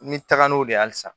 N bɛ taga n'o de ye halisa